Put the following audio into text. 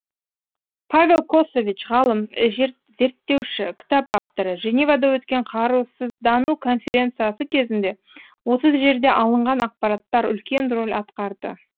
павел косович ғалым зерттеуші кітап авторы женевада өткен қарусыздану конференциясы кезінде осы жерде алынған ақпараттар үлкен рөл атқарды